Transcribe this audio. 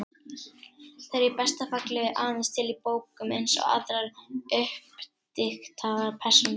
Þeir eru í besta falli aðeins til í bókum, eins og aðrar uppdiktaðar persónur.